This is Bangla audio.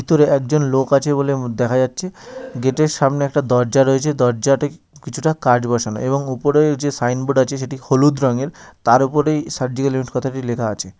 দূরে একজন লোক আছে বলে দেখা যাচ্ছে গেট এর সামনে একটা দরজা রয়েছে দরজাটা কিছুটা কাচ বসানো এবং উপরে যে সাইনবোর্ড এ আছে সেটি হলুদ রঙের তার ওপরই সার্জিক্যাল কথাটি লেখা আছে।